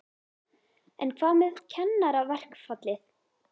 En hvað með kennaraverkfallið?